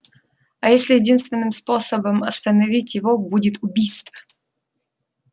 а если единственным способом остановить его будет убийство